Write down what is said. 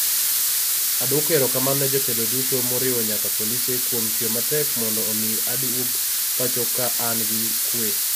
Adwoko erokamano ne jotelo duto, moriwo nyaka polise, kuom tiyo matek mondo omi aduog pacho ka an gi kuwe".